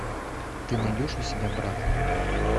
ты найдешь у себя брат